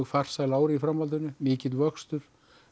farsæl ár í framhaldinu mikill vöxtur